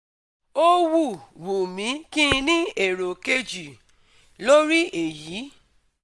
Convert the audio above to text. Ó wù wù mí kí n ní èrò kejì lórí èyí